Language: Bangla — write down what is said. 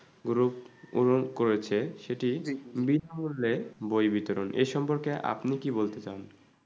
পুর পূরণ করেছে সেটি বিনামূল্যে বই বিতরণ এ সম্পর্কে আপনি কি বলতে চান?